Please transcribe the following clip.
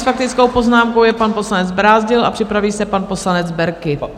S faktickou poznámkou je pan poslanec Brázdil a připraví se pan poslanec Berki.